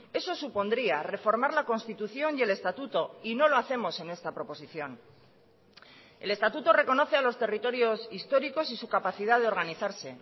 eso supondría reformar la constitución y el estatuto y no lo hacemos en esta proposición el estatuto reconoce a los territorios históricos y su capacidad de organizarse